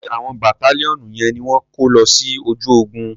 Ṣé àwọn bàtálíọ̀nù yẹn ni wọ́n ko lọ sí ojú ogun.